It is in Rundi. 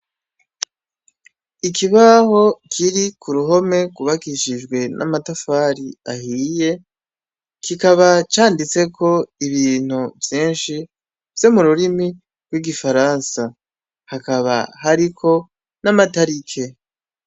Ikibaho kiri k'uruhome rwubakishijwe n'amatafari ahiye, kikaba canditseko ibintu vyinshi vyo mururimi rw'igifaransa. Hakaba hariko n'amatariki.